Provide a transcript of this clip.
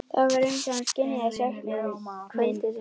Það var eins og hann skynjaði söknuð minn.